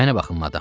Mənə baxın, madam.